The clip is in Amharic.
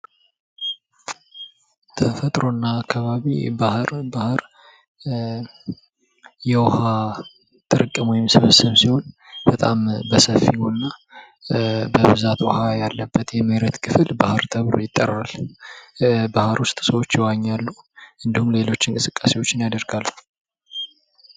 ተፈጥሮ እና አካባቢ ባህር ።ባህር ስብስብ እና ጥርቅም ሲሆን በሰፊ ቦታ በብዛት ውሃ ያለበት የመሬት ክፍል ባህር ተብሎ ይጠራል። ባህር ውስጥ ሰዎች ይዋኛሉ እንዲሁም ሌሎች እንቅስቃሴዎችን ያደርጋሉ።